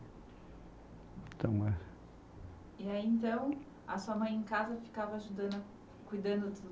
Então é. E aí, então, a sua mãe em casa ficava ajudando, cuidando do